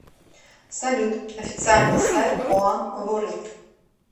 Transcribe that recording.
салют официальный сайт уан ворлд